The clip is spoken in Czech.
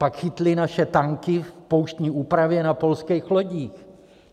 Pak chytly naše tanky v pouštní úpravě na polských lodích.